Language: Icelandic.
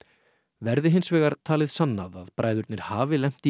verði hins vegar talið sannað að bræðurnir hafi lent í